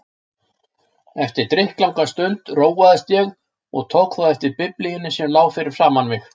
Eftir drykklanga stund róaðist ég og tók þá eftir Biblíunni sem lá fyrir framan mig.